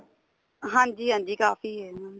ਹਾਂਜੀ ਹਾਂਜੀ ਕਾਫੀ ਏ ਇਹਨਾ ਦੀ